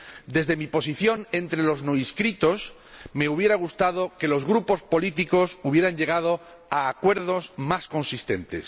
Desde mi posición entre los no inscritos, me habría gustado que los grupos políticos hubieran llegado a acuerdos más consistentes.